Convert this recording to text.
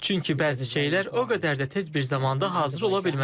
Çünki bəzi şeylər o qədər də tez bir zamanda hazır ola bilməz.